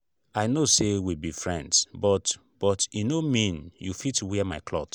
i know say we be friends but but e no mean you go fit wear my cloth